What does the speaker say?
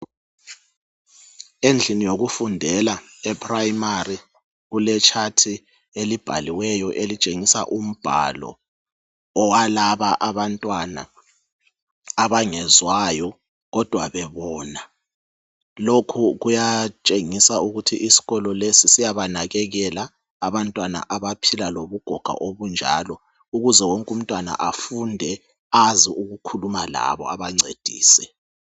endlini yokufundela e primary kule chart elibhaliweyo elitshengisa umbalo owalaba abantwana abangezwayo kodwa bebona lokhu kuyatshengisa ukuthi isikolo lesi siyabanakekela abantwana abaphila lobugoga obunjalo ukuze wonke umntwana afunde azi ukukhuluma labo abancedise